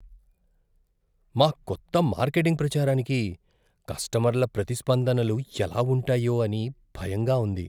మా కొత్త మార్కెటింగ్ ప్రచారానికి కస్టమర్ల ప్రతిస్పందనలు ఎలా ఉంటాయో అని భయంగా ఉంది.